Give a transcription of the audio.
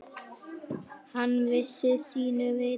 Hann vissi sínu viti.